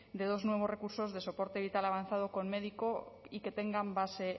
de dos nuevos recursos de soporte vital avanzado con médico y que tengan base